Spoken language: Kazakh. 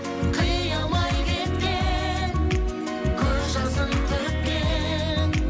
қия алмай кеткен көз жасын төккен